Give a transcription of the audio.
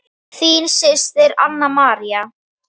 Þín systir, Anna María.